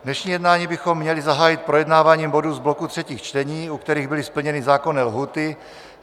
Dnešní jednání bychom měli zahájit projednáváním bodů z bloku třetích čtení, u kterých byly splněny zákonné lhůty.